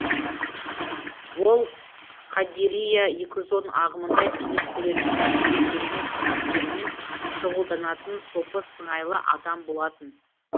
ол қадирия екі жүз он ағымында бейнет көретін кәсіби керемет әдеттерімен шұғылданатын сопы сыңайлы адам болатын